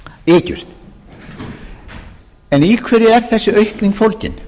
eykst en í hverju er þessi aukning fólgin